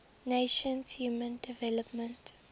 nations human development